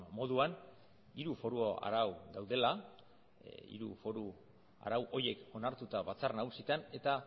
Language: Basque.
moduan hiru foru arau daudela hiru foru arau horiek onartuta batzar nagusietan eta